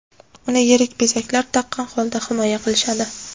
Uni yirik bezaklar taqqan holda himoya qilishadi.